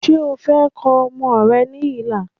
Ṣé o fẹ́ kọ ọmọ rẹ ní ilà